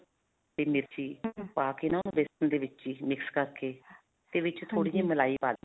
ਤੇ ਮੇਥੀ ਪਾਕੇ ਨਾ ਬੇਸਨ ਦੇ ਵਿੱਚ ਹੀ, mix ਕਰਕੇ ਤੇ ਵਿੱਚ ਥੋੜੀ ਜਿਹੀ ਮਲਾਈ ਪਾ